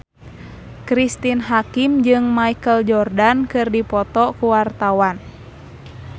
Cristine Hakim jeung Michael Jordan keur dipoto ku wartawan